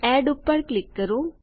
add પર click કરો